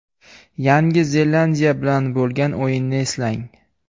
Yangi Zelandiya bilan bo‘lgan o‘yinni eslang.